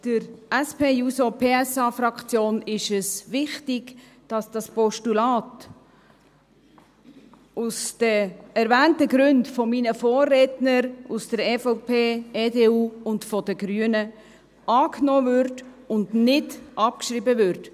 Der SP-JUSO-PSA-Fraktion ist es wichtig, dass das Postulat aus den erwähnten Gründen meiner Vorredner aus der EVP, EDU und der Grünen angenommen und abgeschrieben wird.